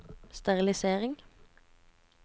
sterilisering